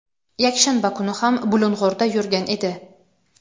yakshanba kuni ham Bulung‘urda yurgan edi.